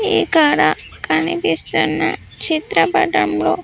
ఇక్కడ కనిపిస్తున్న చిత్రపటంలో.